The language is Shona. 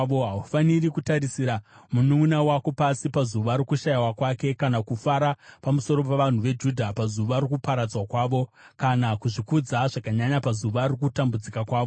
Haufaniri kutarisira mununʼuna wako pasi, pazuva rokushayiwa kwake, kana kufara pamusoro pavanhu veJudha, pazuva rokuparadzwa kwavo, kana kuzvikudza zvakanyanya pazuva rokutambudzika kwavo.